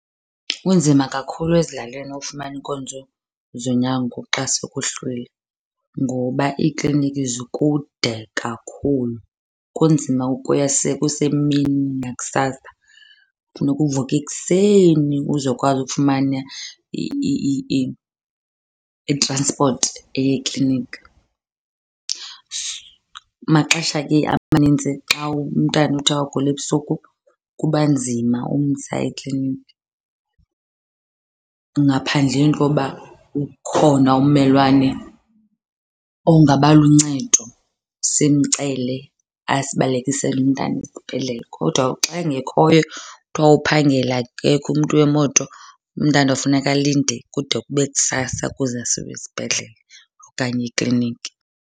Kunzima kakhulu ezilalini ukufumana iinkonzo zonyango xa sekuhlwile ngoba iikliniki zikude kakhulu, kunzima ukuya sekusemini nakusasa. Funeka uvuke ekuseni uzokwazi ukufumana i-transport eya ekliniki. Maxesha ke amanintsi xa umntana uthi agule ebusuku kuba nzima ukumsa ekliniki ngaphandleni koba ukhona ummelwane ongaba luncedo simcele asibalekisele umntana esibhedlele. Kodwa xa engekhoyo kuthiwa uphangele, akekho umntu wemoto, umntana kufuneka alinde kude kube kusasa ukuze asiwe esibhedlele okanye ekliniki.